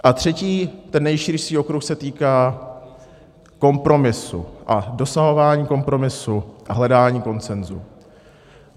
A třetí, ten nejširší okruh se týká kompromisu a dosahování kompromisu a hledání konsenzu.